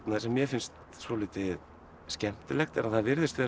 mér finnst svolítið skemmtilegt er að það virðist vera að